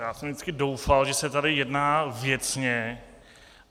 Já jsem vždycky doufal, že se tady jedná věcně.